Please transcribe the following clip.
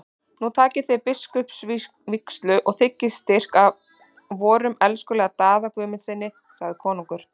Nú takið þér biskupsvígslu og þiggið styrk af vorum elskulega Daða Guðmundssyni, sagði konungur.